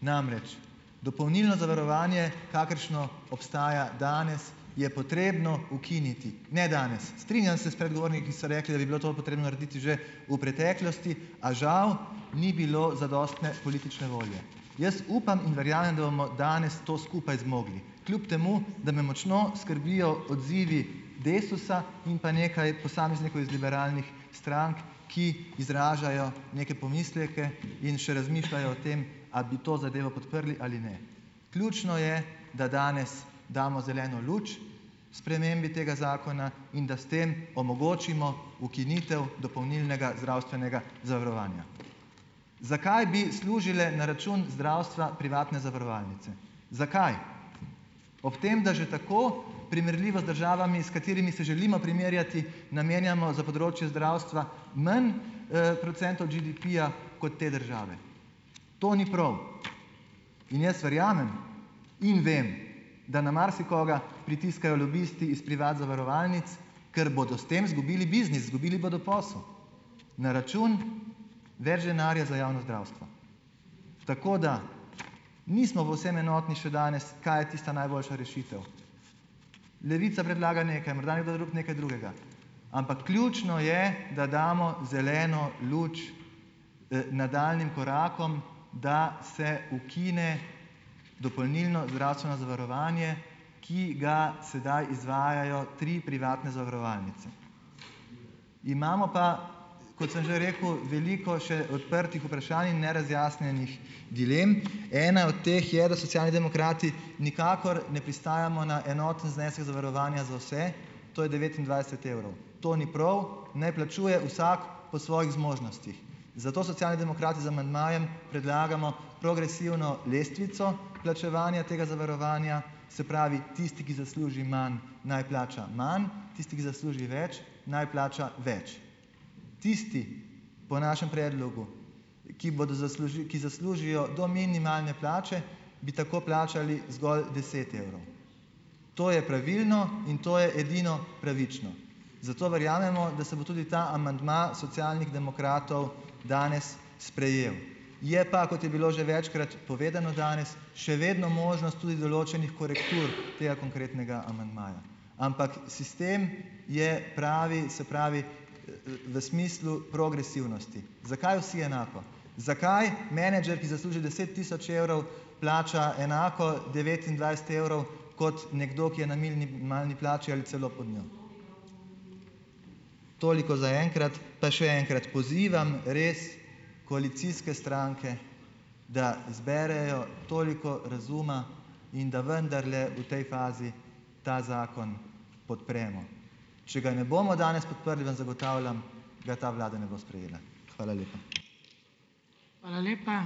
namreč dopolnilno zavarovanje, kakršno obstaja danes, je potrebno ukiniti, ne danes. Strinjam se s predgovorniki, ki so rekli, da bi bilo to potrebno narediti že v preteklosti, a žal ni bilo zadostne politične volje. Jaz upam in verjamem, da bomo danes to skupaj zmogli, kljub temu, da me močno skrbijo odzivi Desusa in pa nekaj posameznikov iz liberalnih strank, ki izražajo neke pomisleke in še razmišljajo o tem, a bi to zadevo podprli ali ne. Ključno je, da danes damo zeleno luč spremembi tega zakona in da s tem omogočimo ukinitev dopolnilnega zdravstvenega zavarovanja. Zakaj bi služile na račun zdravstva privatne zavarovalnice, zakaj? Ob tem, da že tako primerljivo z državami, s katerimi se želimo primerjati, namenjamo za področje zdravstva manj, procentov GDP-ja kot te države. To ni prav. In jaz verjamem in vem, da na marsikoga pritiskajo lobisti iz privat zavarovalnic, ker bodo s tem izgubili biznis, izgubili bodo posel, na račun več denarja za javno zdravstvo. Tako da nismo povsem enotni še danes, kaj je tista najboljša rešitev. Levica predlaga nekaj, morda nekdo drug nekaj drugega, ampak ključno je, da damo zeleno luč, nadaljnjim korakom, da se ukine dopolnilno zdravstveno zavarovanje, ki ga sedaj izvajajo tri privatne zavarovalnice. Imamo pa, kot sem že rekel, veliko še odprtih vprašanj in nerazjasnjenih dilem. Ena od teh je, da Socialni demokrati nikakor ne pristajamo na enoten znesek zavarovanja za vse, to je devetindvajset evrov. To ni prav. Naj plačuje vsak po svojih zmožnostih, zato Socialni demokrati z amandmajem predlagamo progresivno lestvico plačevanja tega zavarovanja, se pravi tisti, ki zasluži manj, naj plača manj, tisti, ki zasluži več, naj plača več. Tisti, po našem predlogu, ki bodo ki zaslužijo do minimalne plače, bi tako plačali zgolj deset evrov. To je pravilno in to je edino pravično. Zato verjamemo, da se bo tudi ta amandma Socialnih demokratov danes sprejel. Je pa, kot je bilo že večkrat povedano danes, še vedno možnost tudi določenih korektur tega konkretnega amandmaja. Ampak sistem je pravi, se pravi, v smislu progresivnosti. Zakaj vsi enako? Zakaj menedžer, ki zasluži deset tisoč evrov, plača enako devetindvajset evrov kot nekdo, ki je na minimalni plači ali celo pod njo. Toliko zaenkrat. Pa še enkrat pozivam res koalicijske stranke, da zberejo toliko razuma in da vendarle v tej fazi ta zakon podpremo. Če ga ne bomo danes podprli, vam zagotavljam, ga ta vlada ne bo sprejela. Hvala lepa.